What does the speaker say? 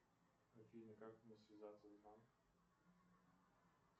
афина как мне связаться с банком